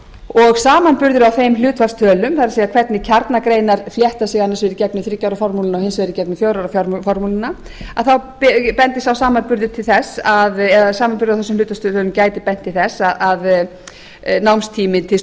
og samanburður á þeim hlutfallstölum það er hvernig kjarnagreinar þétta sig annars vegar í gegnum þriggja ára formúluna og hins vegar í gegnum fjögurra ára formúluna að þá bendir sá samanburður á þessum hlutfallstölum gæti bent til þess að námstími til